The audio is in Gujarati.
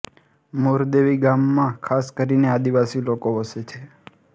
મોરદેવી ગામમાં ખાસ કરીને આદિવાસી લોકો વસે છે